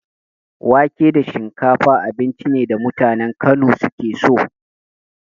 Wake da shinkafa abinci ne da mutanen Kano suke so.